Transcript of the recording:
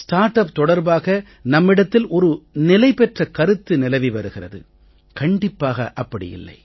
start up தொடர்பாக நம்மிடத்தில் ஒரு நிலைபெற்ற கருத்து நிலவி வருகிறது கண்டிப்பாக இல்லை